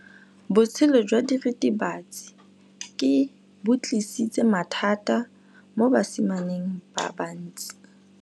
Botshelo jwa diritibatsi ke bo tlisitse mathata mo basimaneng ba bantsi.